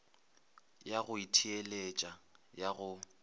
ya go itheeletša ya go